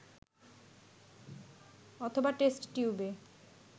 অথবা টেস্ট টিউবে